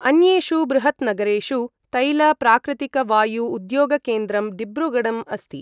अन्येषु बृहत्नगरेषु तैल प्राकृतिकवायु उद्योगकेन्द्रं डिब्रुगढम् अस्ति ।